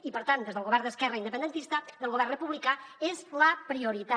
i per tant des del govern d’esquerra independentista del govern republicà és la prioritat